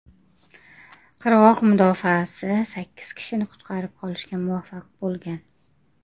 Qirg‘oq mudofaasi sakkiz kishini qutqarib qolishga muvaffaq bo‘lgan.